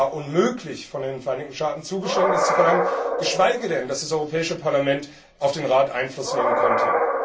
Es war unmöglich, von den Vereinigten Staaten Zugeständnisse zu verlangen, geschweige denn, dass das Europäische Parlament auf den Rat Einfluss nehmen konnte.